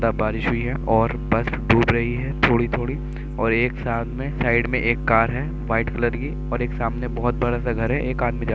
बारिश हुई है और बस डूब रही है। थोड़ी-थोड़ी और एक साइड में एक कार है। व्हाइट कलर की और एक सामने बहोत बड़ा सा घर है। एक आदमी --